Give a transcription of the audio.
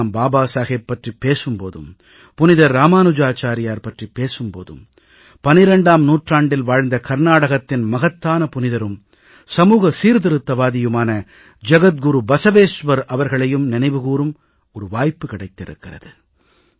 இன்று நாம் பாபா சாஹேப் பற்றிப் பேசும் போதும் புனிதர் இராமானுஜாச்சாரியார் பற்றிப் பேசும் போது 12ஆம் நூற்றாண்டில் வாழ்ந்த கர்நாடகத்தின் மகத்தான புனிதரும் சமூக சீர்திருத்தவாதியுமான ஜகத்குரு பசவேஸ்வர் அவர்களையும் நினைவு கூரும் வாய்ப்பு கிடைத்திருக்கிறது